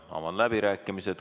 Avan läbirääkimised.